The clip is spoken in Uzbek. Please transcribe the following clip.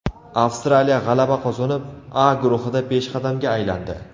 Avstraliya g‘alaba qozonib, A guruhida peshqadamga aylandi.